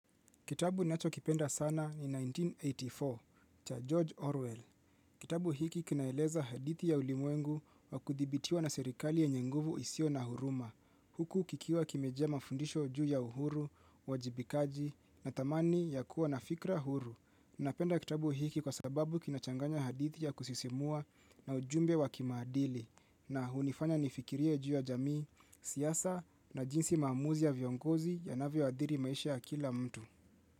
Kitabu nacho kipenda sana ni 1984, cha George Orwell. Kitabu hiki kinaeleza hadithi ya ulimwengu wa kudhibitiwa na serikali yenye nguvu isio na huruma. Huku kikiwa kimejaa mafundisho juu ya uhuru, uwajibikaji na dhamani ya kuwa na fikra huru. Napenda kitabu hiki kwa sababu kinachanganya hadithi ya kusisimua na ujumbe wa kimaadili. Na hunifanya nifikirie juu ya jamii, siasa na jinsi maamuzi ya viongozi yanavyo adhiri maisha ya kila mtu.